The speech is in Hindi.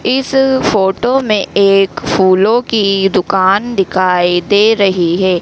इस फोटो में एक फूलों की दुकान दिखाई दे रहीं हैं।